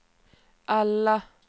alla